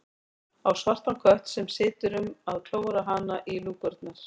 Á svartan kött sem situr um að klóra hana í lúkurnar.